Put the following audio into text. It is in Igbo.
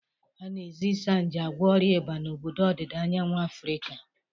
A na-eji Isanaje agwọ ọrịa ịba n'obodo ọdịda anyanwụ Afrịka.